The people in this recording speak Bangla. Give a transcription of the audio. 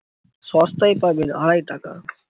সস্তায় পাবেন আড়াই টাকা।